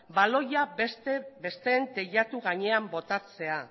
baloia besteen teilatu gainean botatzea